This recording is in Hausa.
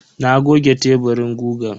Na goge teburin gugan.